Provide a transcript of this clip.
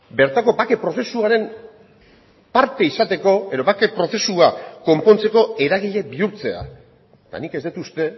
bertako bake prozesuaren parte izateko edo bake prozesua konpontzeko eragile bihurtzea eta nik ez dut uste